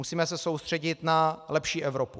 Musíme se soustředit na lepší Evropu.